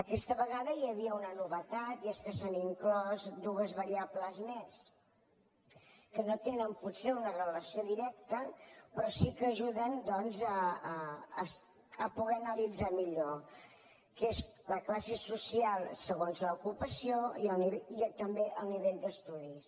aquesta vegada hi havia una novetat i és que s’hi han inclòs dues variables més que no tenen potser una relació directa però sí que ajuden doncs a poder analitzar millor que són la classe social segons l’ocupació i també el nivell d’estudis